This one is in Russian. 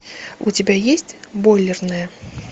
у тебя есть бойлерная